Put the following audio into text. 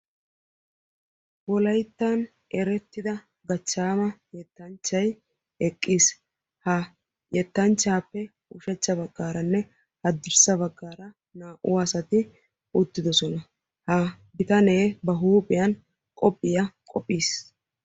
Wolayttan erettidda yettanchchay eqqiis.ha hettanchchappe ushsha bagan naa'u asaayatti eqqidosonna.